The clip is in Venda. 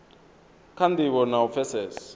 kha ndivho na u pfesesa